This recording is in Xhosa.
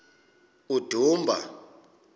udumba